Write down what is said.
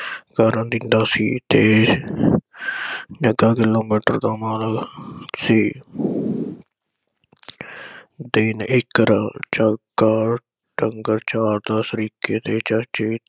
ਕਰਨ ਦਿੰਦਾ ਸੀ ਤੇ ਜੱਗਾ ਕਿਲੋਮੀਟਰ ਤੋਂ ਪੈਦਲ ਸੀ। ਦਿਨ ਇਕ ਚਾਰ ਦਸ ਤਰੀਕੇ ਤੇ ਚਾਚੇ